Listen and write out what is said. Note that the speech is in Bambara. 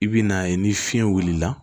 I bi n'a ye ni fiɲɛ wulila